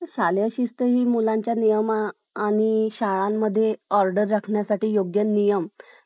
पाने योजनेला गती. देवाई चौकाजवळ स्थानिकांचा विरोध. नक्षत्रवाडीहून सोलापूर-धुळे महामार्गच्या बाजूने सातारा देवळाली शिवाजी नगर सिडको मार्गे